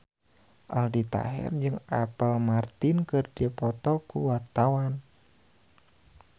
Aldi Taher jeung Apple Martin keur dipoto ku wartawan